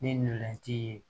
Ni ntolan ci ye